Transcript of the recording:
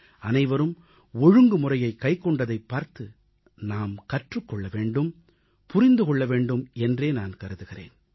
அனைவரும் ஒழுங்குமுறையைக் கைக்கொண்டதைப் பார்த்து நாம் கற்றுக் கொள்ள வேண்டும் புரிந்து கொள்ள வேண்டும் என்றே நான் கருதுகிறேன்